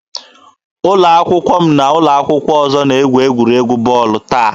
Ụlọ akwụkwọ m na ụlọ akwụkwọ ọzọ na-egwu egwuregwu bọọlụ taa.